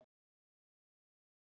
Þetta er til.